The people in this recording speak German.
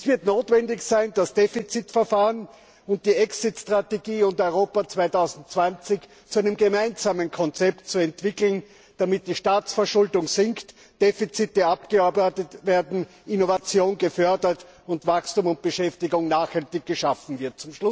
Es wird notwendig sein, das Defizitverfahren, die Exit Strategie und Europa 2020 zu einem gemeinsamen Konzept zu entwickeln, damit die Staatsverschuldung sinkt, Defizite abgearbeitet werden, Innovation gefördert sowie Wachstum und Beschäftigung nachhaltig geschaffen wird.